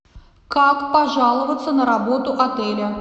как пожаловаться на работу отеля